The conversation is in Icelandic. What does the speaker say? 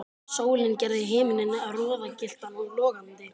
Sólin gerði himininn roðagylltan og logandi.